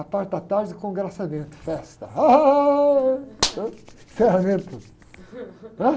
A parte da tarde, o congraçamento, festa. Ah! Né? Encerramento, né?